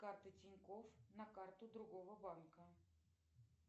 карты тинькофф на карту другого банка